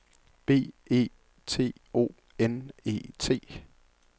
B E T O N E T